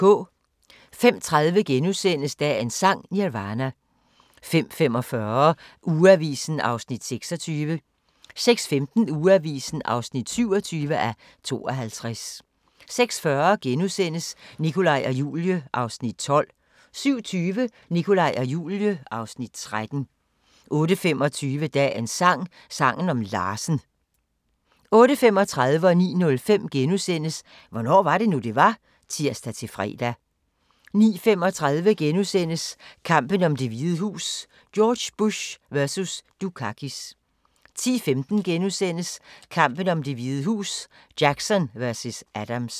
05:30: Dagens Sang: Nirvana * 05:45: Ugeavisen (26:52) 06:15: Ugeavisen (27:52) 06:40: Nikolaj og Julie (Afs. 12)* 07:20: Nikolaj og Julie (Afs. 13) 08:25: Dagens sang: Sangen om Larsen 08:35: Hvornår var det nu, det var? *(tir-fre) 09:05: Hvornår var det nu, det var? *(tir-fre) 09:35: Kampen om Det Hvide Hus: George Bush vs. Dukakis * 10:15: Kampen om Det Hvide Hus: Jackson vs. Adams *